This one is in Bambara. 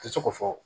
Tɛ se k'o fɔ